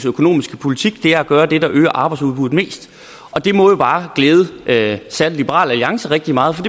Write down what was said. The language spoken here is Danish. økonomiske politik er at gøre det der øger arbejdsudbuddet mest og det må jo bare glæde særlig liberal alliance rigtig meget for